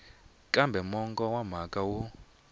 kambe mongo wa mhaka wu